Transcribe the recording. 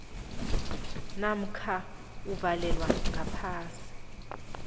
namkha uvalelwa ngaphasi